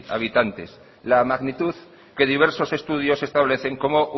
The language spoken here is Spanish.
habitantes la magnitud que diversos estudios establecen como